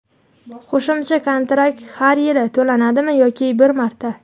Qo‘shimcha kontrakt har yili to‘lanadimi yoki bir marta?.